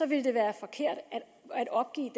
ville det være forkert at opgive